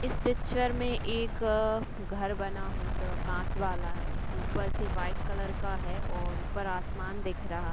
इस पिक्चर में एक अ-ह- घर बना हुआ आ काँच वाला है। ऊपर से व्हाइट कलर का है और ऊपर आसमान दिख रहा--